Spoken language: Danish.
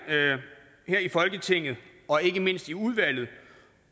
her i folketinget og ikke mindst i udvalget